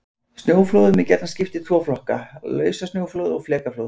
Snjóflóðum er gjarnan skipt í tvo flokka: Lausasnjóflóð og flekaflóð.